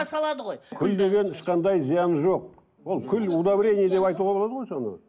салады ғой күл деген ешқандай зияны жоқ ол күл удобрение деп айтуға болады ғой соны